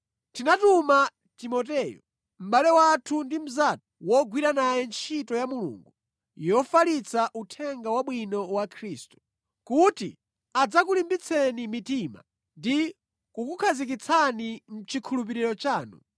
Tinatuma Timoteyo, mʼbale wathu ndi mnzathu wogwira naye ntchito ya Mulungu yofalitsa Uthenga Wabwino wa Khristu, kuti adzakulimbitseni mitima ndi kukukhazikitsani mʼchikhulupiriro chanu,